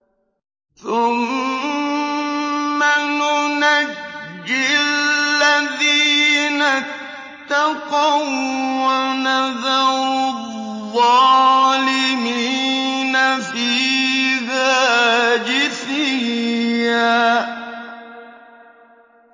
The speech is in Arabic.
ثُمَّ نُنَجِّي الَّذِينَ اتَّقَوا وَّنَذَرُ الظَّالِمِينَ فِيهَا جِثِيًّا